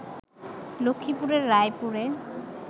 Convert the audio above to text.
লক্ষ্মীপুরের রায়পুরে